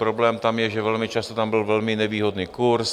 Problém tam je, že velmi často tam byl velmi nevýhodný kurz.